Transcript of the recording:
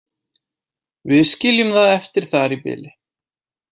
Við skiljum það eftir þar í bili.